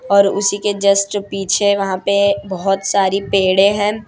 और उसी के जस्ट पीछे वहां पे बहोत सारी पेड़े हैं।